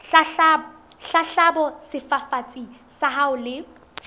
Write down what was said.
hlahloba sefafatsi sa hao le